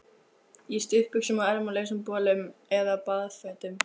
Í stuttbuxum og ermalausum bolum eða baðfötum.